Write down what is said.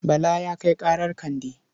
Bala ya kai ƙarar Kande.